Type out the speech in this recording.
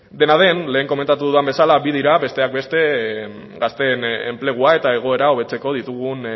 dena den lehen komentatu dudan bezala bi dira besteak beste gazteen enplegua eta egoera hobetzeko ditugun